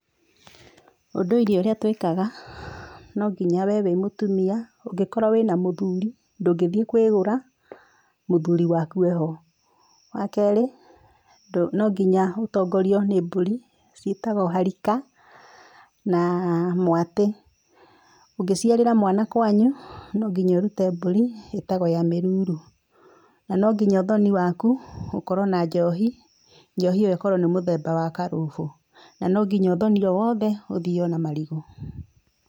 Ũndũire ũrĩa twĩkaga no nginya wee wĩ mũtumia na angĩkorwo wĩna mũthũri ndũngĩthie kwĩgũra mũthũri waku eho, wakerĩ no nginya ũtongorio nĩ mbũri ciĩtagwo harika na mwatĩ, ũngĩciarĩra mwana kwanyu no nginya ũrute mbũri ĩtagwo ya mĩruru, na ũthoni waku ũkorwo na njohi njohi ĩyo ĩkorwo nĩ mũthemba wa karũhũ, na no nginya ũthoni wothe ũthio na marigũ.